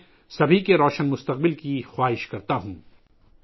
میں سب کے روشن مستقبل کی نیک خواہشات رکھتا ہوں